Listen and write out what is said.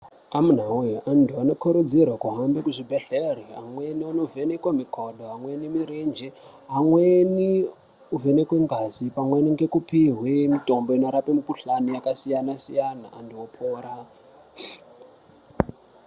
Amuna we antu anokurudzirwa kuhambe kuzvibhedhlera amweni anovhenekwa mikono amweni mirenje amweni anovhenekwa ngazi amweni anopihwe mitombo inorapa mikuhlani yakasiyana-siyana antu opora.